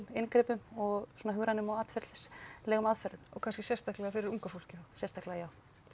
inngripum og svona hugrænum og atferlislegum aðferðum og kannski sérstaklega fyrir unga fólkið sérstaklega já